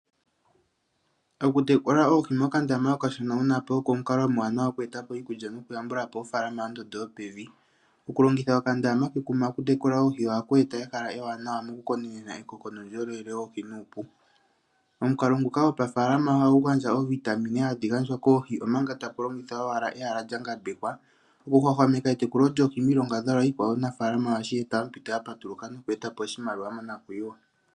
Okutekula oohi mokandama okashona oko omukalo omupe omuwanawa oku eta po iikulya nokuyambula po ofaalama yondondo yopevi. Okulongitha okandama kekuma okutekula oohi ohaku eta ehala ewanawa mokukonenena ekoko nuundjolowele woohi nuupu. Omukalo nguka gopafaalama ohagu gandja oovitamine hadhi gandjwa koohi, omanga taku longithwa owala ehala lya ngambekwa okuhwahwameka etekulo lyoohi miilongadhalwa iikwawo omunafaalama ohashi eta ompito ya patuluka noku eta po oshimaliwa monakuyiwa.